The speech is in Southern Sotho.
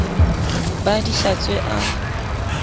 be a di hlatswe a